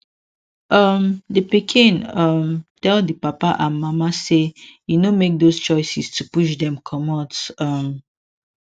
um d pikin um tell d papa and mama say e no make those choices to push dem komot um